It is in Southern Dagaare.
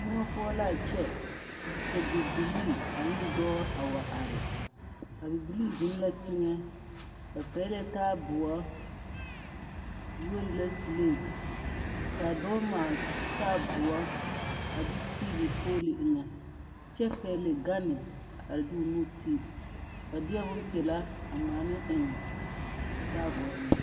Moɔ poɔ la a kyɛ ka bibilii ane dɔɔ a wa are a bibilii zeŋ la teŋɛ ba tere taaboo yuori la seleete ka a dɔɔ maala taaboo a de tiili polo eŋa a kyɛ de o nu tiilii ba de bompelaa ŋmaa ne eŋ a taaboore eŋa